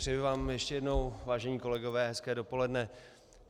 Přeji vám ještě jednou, vážení kolegové, hezké dopoledne.